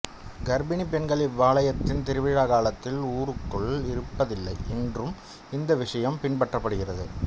கர்ப்பிணி பெண்கள் இவ்வாலயத்தின் திருவிழா காலத்தில் ஊருக்குள் இருப்பதில்லை இன்றும் இந்த விஷயம் பின்பற்றப்படுகிறது